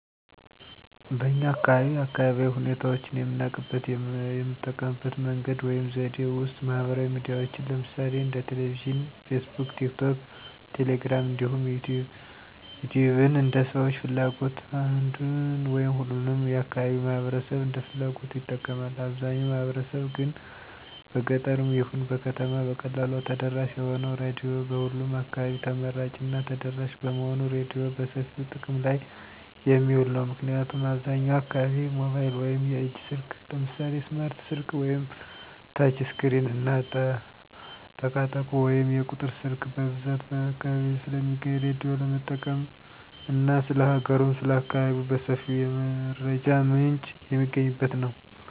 በኛ አካባቢ አካባቢያዊ ሁኔታዎችን የምናውቅበት የምንጠቀምበት መንገድ ወይም ዘዴ ውስጥ ማህበራዊ ሚዲያዎችን ለምሳሌ እንደ ቴሌቪዥን: ፌስቡክ: ቲክቶክ: ቴሌግራም እንዲሁም ዩቲዩብን እንደ ሰዎች ፍላጎት አንዱን ወይም ሁሉንም የአካባቢው ማህበረሰብ እንደ ፍላጎቱ ይጠቀማል። አብዛው ማህበረሰብ ግን በገጠርም ይሁን በከተማ በቀላሉ ተደራሽ የሆነው ራዲዮ በሁሉም አካባቢ ተመራጭ እና ተደራሽ በመሆኑ ራዲዮ በሰፊው ጥቅም ላይ የሚውል ነው። ምክንያቱም አብዛኛው አካባቢ ሞባይል ወይም የእጅ ስልክ ለምሳሌ ስማርት ስልክ ወይም ተች ስክሪን እና ጠቃጠቆ ወይም የቁጥር ስልክ በብዛት በሁሉም አካባቢ ስለሚገኝ ራዳዮ ለመጠቀም እና ስለ ሀገሩም ስለ አካባቢው በሰፊው የመረጃ ምንጭ የሚገኝበት ነው።